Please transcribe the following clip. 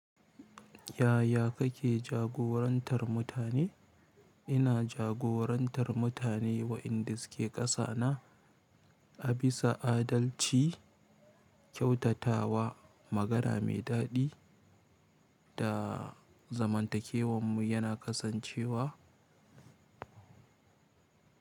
Yaya kake jagorantar mutane? Ina jagorantar mutane wa inda suke ƙasa na, a bisa adalci, kyautatawa, magana mai daɗi, da zamantakewanmu yana kasancewa,